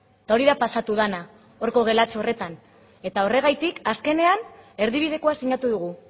eta hori da pasatu dena horko gelatxo horretan eta horregatik azkenean erdibidekoa sinatu dugu